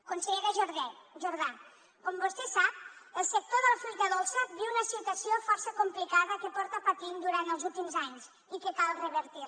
consellera jordà com vostè sap el sector de la fruita dolça viu una situació força complicada que porta patint durant els últims anys i que cal revertir